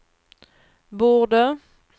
borde